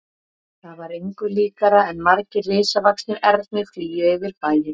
Það var engu líkara en margir risavaxnir ernir flygju yfir bæinn.